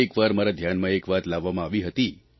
એક વાર મારા ધ્યાનમાં એક વાત લાવવામાં આવી હતી